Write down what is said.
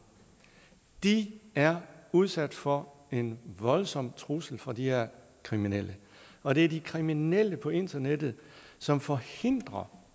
de er udsat for en voldsom trussel fra de her kriminelle og det er de kriminelle på internettet som forhindrer